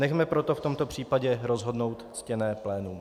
Nechme proto v tomto případě rozhodnout ctěné plénum.